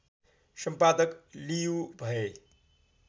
सम्पादक लियु भए